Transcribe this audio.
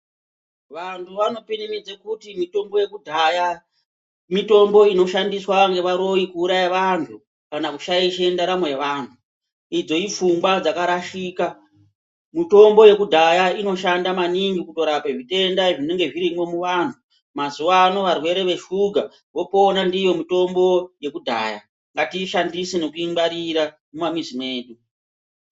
Vantu vanopirimidze kuti mitombo yekudhaya mitombo inoshandiswa ngevaroyi kuuraye vantu kana kushaishe ndaramo yaanhu idzo ipfungwa dzakarashika mutombo yekudhaya inoshanda maningi kutorape zvitenda zvinenga zvirimwo muanhu mazuwa ano varwere veshuga vopona ndiyo mitombo yekudhaya ngatiingwarire nekuishandisa mumamuzi mwedu.